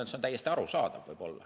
See on täiesti arusaadav.